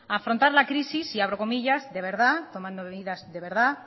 a afrontar las crisis y abro comillas de verdad tomando medidas de verdad